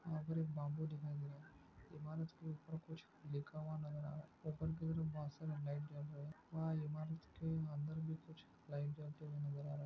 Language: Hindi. यहाँ पर एक बम्बू दिखाई दे रहा है इमारत के उप्पर कुछ लिखा हुआ नज़र आ रहा है उप्पर की तरफ बसें मे लाईट जल रही है वहाँ इमारत के अंदर भी कुछ लाईट जलते हुए नज़र आ रहा है।